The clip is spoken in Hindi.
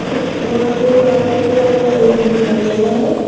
वहां पे एक आदमी के अलावा कोई नहीं दिखाई दे रहा है।